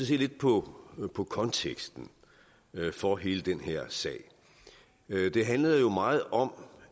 se lidt på på konteksten for hele den her sag det handlede jo meget om